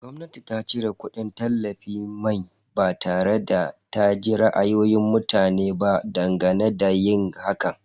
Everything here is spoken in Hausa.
Gwamnati ta cire kudin tallafin mai ba tare da ta ji ra'ayoyin mutane ba dangane da yin hakan.